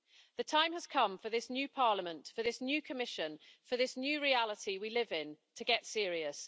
The time has come for this new Parliament, for this new Commission, for this new reality we live in, to get serious.